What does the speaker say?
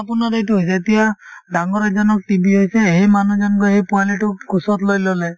আপোনাৰ এইটো হয় যেতিয়া ডাঙৰ এজনক TB হৈছে সেই মানুহজন গৈ সেই পোৱালিটোক কোচত লৈ ললে